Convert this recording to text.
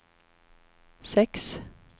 sex